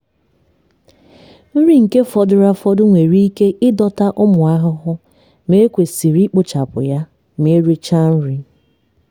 nri nke fọdụrụ afọdụ nwere ike ịdọta ụmụ ahụhụ ma e kwesịrị ikpochapụ ya ma erichaa nri.